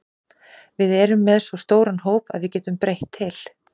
Við erum með svo stóran hóp að við getum breytt til.